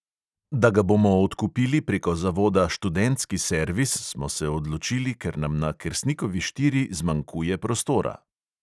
Da ga bomo odkupili preko zavoda študentski servis, smo se odločili, ker nam na kersnikovi štiri zmanjkuje prostora.